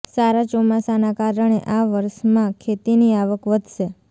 સારા ચોમાસાના કારણે આ વર્ષમાં ખેતીની આવક વધશે